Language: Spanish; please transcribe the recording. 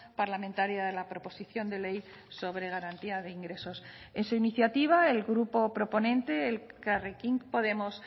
parlamentaria de la proposición de ley sobre garantía de ingresos en su iniciativa el grupo proponente elkarrekin podemos